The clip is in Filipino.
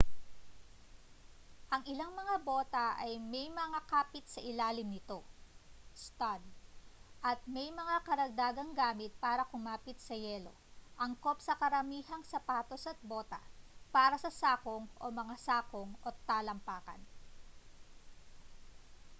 ang ilang mga bota ay may mga kapit sa ilalim nito stud at may mga karagdagang gamit para kumapit sa yelo angkop sa karamihang sapatos at bota para sa sakong o mga sakong at talampakan